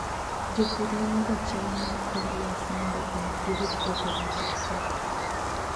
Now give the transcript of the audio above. Jopur nonoga chal mar kor lwasi mondo omi girit puothegi kik kethre.